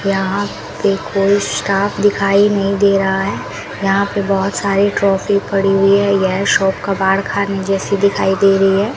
यहां पे कोई स्टाफ दिखाई नहीं दे रहा है यहां पे बहोत सारे ट्रॉफी पड़ी हुई है यह शॉप कबाड़ खाने जैसी दिखाई दे रही है।